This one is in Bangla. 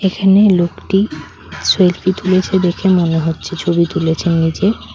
এখানে লোকটি সেলফি তুলেছে দেখে মনে হচ্ছে ছবি তুলেছে নিজের।